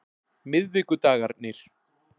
miðvikudagarnir